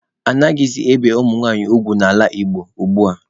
Anaghịzị ebi nwanyị ugwu n'ala Igbo ugbua.